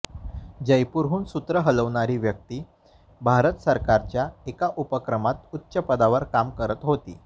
जयपूरहून सूत्र हलवणारी व्यक्ती भारत सरकारच्याच एका उपक्रमात उच्चपदावर काम करत होती